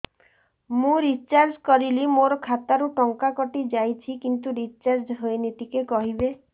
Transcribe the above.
ମୁ ରିଚାର୍ଜ କରିଲି ମୋର ଖାତା ରୁ ଟଙ୍କା କଟି ଯାଇଛି କିନ୍ତୁ ରିଚାର୍ଜ ହେଇନି ଟିକେ କହିବେ